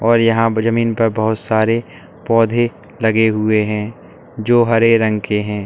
और यहां ब जमीन प बहोत सारे पौधे लगे हुए हैं जो हरे रंग के हैं।